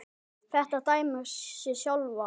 Þetta dæmir sig sjálft.